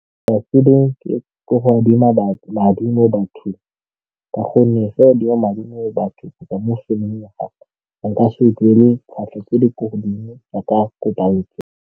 Ga ke rate go adima madi mo bathong ka gonne fa o adima madi mo bathong kgotsa mo gape nka se duele tlhwatlhwa tse di ko godimo jaaka ko bankeng.